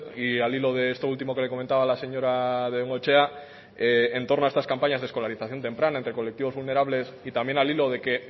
y al hilo de esto último que le comentaba a la señora bengoechea en torno a estas campañas de escolarización temprana entre colectivos vulnerables y también al hilo de que